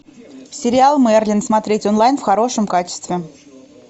сериал мерлин смотреть онлайн в хорошем качестве